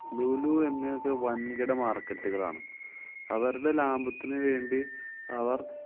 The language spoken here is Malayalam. ലുലു, ഒക്കെ വന്‍കിട market കളാണ്. അവര്‍ടെ ലാഭത്തിനു വേണ്ടി അവര്‍